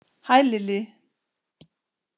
Hæ Lilli!